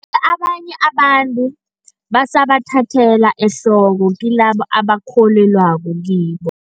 Abanye abantu, basabathathela ehloko, kilabo abasakholelwako kibo.